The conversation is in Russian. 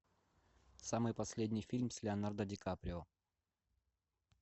самый последний фильм с леонардо ди каприо